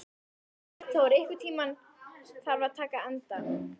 Arnþór, einhvern tímann þarf allt að taka enda.